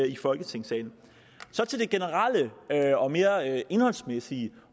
i folketingssalen så til det generelle og mere indholdsmæssige